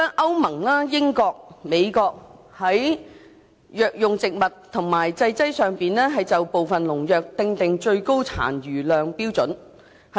歐盟、英國及美國在藥用植物及製劑上就部分農藥訂定最高殘留量標準。